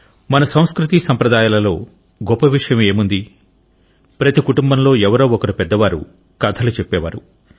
మన సంస్కృతీ సాంప్రదాయాలలో గొప్ప విషయం ఏముంది ప్రతి కుటుంబంలో ఎవరో ఒకరు పెద్దవారు కథలు చెప్పేవారు